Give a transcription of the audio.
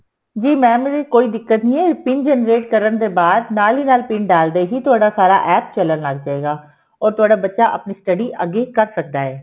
ਜੀ mam ਇਹਦੀ ਕੋਈ ਦਿੱਕਤ ਨੀਂ ਹੈ PIN generate ਕਰਨ ਦੇ ਬਾਅਦ ਨਾਲ ਦੀ ਨਾਲ PIN ਡਾਲ ਦੇਗੀ ਤੁਹਾਡਾ ਸਾਰਾ APP ਚੱਲਣ ਲੱਗ ਪਏਗਾ ਉਹ ਤੁਹਾਡਾ ਬੱਚਾ ਅੱਗੇ ਕਰ ਸਕਦਾ ਏ